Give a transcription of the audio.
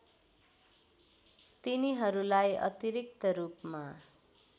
तिनीहरूलाई अतिरिक्त रूपमा